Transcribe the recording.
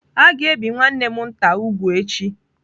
A ga-ebi nwanne m nke nta úgwù echi.